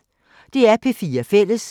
DR P4 Fælles